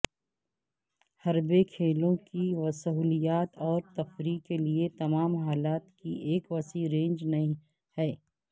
حربے کھیلوں کی سہولیات اور تفریح کے لئے تمام حالات کی ایک وسیع رینج ہے